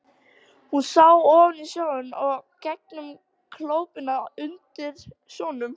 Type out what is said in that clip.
Hún sá ofan í sjóinn og gegnum klöppina undir sjónum.